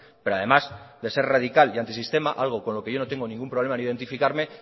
pero además de ser radical y antisistema algo con lo que yo no tengo ningún problema en identificarme